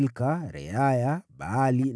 Mika mwanawe, Reaya mwanawe, Baali mwanawe,